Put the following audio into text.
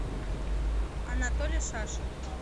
анатолий шашин